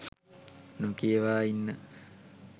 නොකියවා ඉන්න